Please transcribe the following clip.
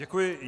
Děkuji.